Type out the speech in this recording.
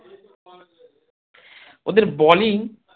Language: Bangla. ওদের bowling